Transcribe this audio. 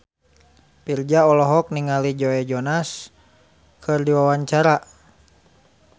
Virzha olohok ningali Joe Jonas keur diwawancara